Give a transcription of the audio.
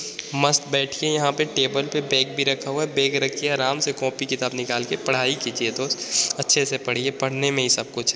मस्त बैठिए यहां पे टेबुल पर बैग भी रखा हुआ है। बैग रखिये आराम से आराम से कॉपी किताब निकाल के पढ़ाई कीजिए दोस्त अच्छे से पढ़िए पढ़ने में ही सब कुछ है।